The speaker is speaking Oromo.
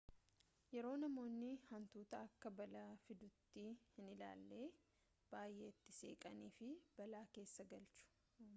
yeroo namoonni hantuuta akka balaa fiduttii hin laalle baay'ee itti siqanii of balaa keessa galchu